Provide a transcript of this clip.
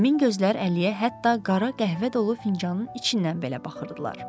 Həmin gözlər Əliyə hətta qara qəhvə dolu fincanın içindən belə baxırdılar.